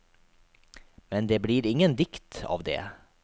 Men det blir ingen dikt av det.